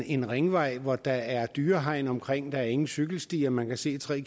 en ringvej hvor der er et dyrehegn omkring der er ingen cykelstier man kan se tre